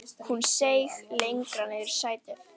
Hún seig lengra niður í sætið.